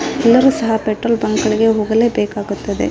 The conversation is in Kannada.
ಎಲ್ಲರೂ ಸಹ ಪೆಟ್ರೋಲ್ ಬ್ಯಾಂಕುಗಳಿಗೆ ಹೋಗಲೇ ಬೇಕಾಗುತ್ತದೆ.